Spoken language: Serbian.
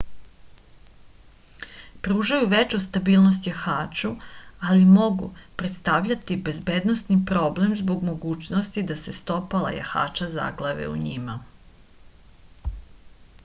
pružaju veću stabilnost jahaču ali mogu predstavljati bezbednosni problem zbog mogućnosti da se stopala jahača zaglave u njima